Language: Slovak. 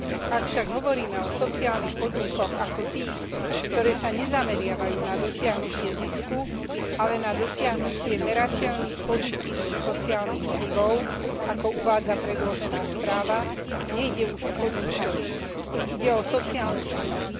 Ak však hovoríme o sociálnych podnikoch ako tých, ktoré sa nezameriavajú na dosiahnutie zisku, ale na dosiahnutie merateľných pozitívnych sociálnych vplyvov, ako uvádza predložená správa, nejde už o podnikanie, ide o sociálnu činnosť.